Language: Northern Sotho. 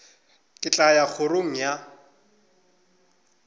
ke tla ya kgorong ya